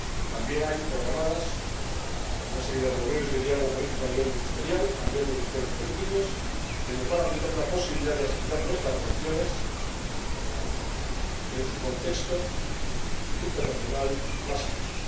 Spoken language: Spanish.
También hay programadas una serie de reuniones de diálogo político a nivel ministerial, entre los directores políticos, que nos van a brindar la posibilidad de estudiar nuestras relaciones en su contexto internacional más amplio.